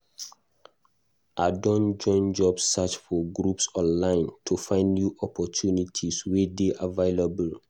I don join job search groups online to find new opportunities wey dey available.